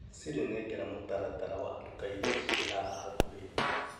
Sire nengera mũtaratara wa nduka iria ciĩ haha hakuhĩ.